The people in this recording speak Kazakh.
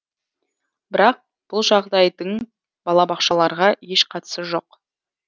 бірақ бұл жағдайдың балабақшаларға еш қатысы жоқ